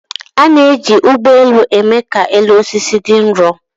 A na-eji ụgbọ elu eme ka elu osisi dị nro